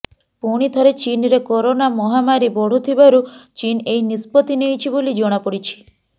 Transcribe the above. ପୁଣିଥରେ ଚୀନରେ କରୋନା ମହାମାରୀ ବଢ଼ୁଥିବାରୁ ଚୀନ ଏହି ନିଷ୍ପତ୍ତି ନେଇଛି ବୋଲି ଜଣାପଡ଼ିଛି